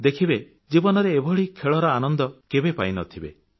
ଦେଖିବେ ଜୀବନରେ ଏଭଳି ଖେଳର ଆନନ୍ଦ କେବେ ପାଇନଥିବେ